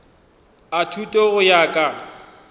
a thuto go ya ka